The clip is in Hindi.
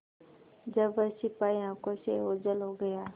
जब वह सिपाही आँखों से ओझल हो गया